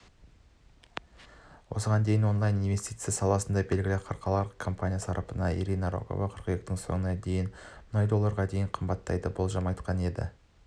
осыған дейін онлайн-инвестиция саласындағы белгілі халықаралық компания сарапшысы ирина рогова қыркүйектің соңына дейін мұнай долларға дейін қымбаттайды деген болжам айтқан еді